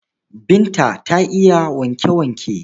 Binta ta yi wanke-wanke.